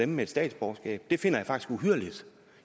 med et statsborgerskab det finder jeg faktisk uhyrligt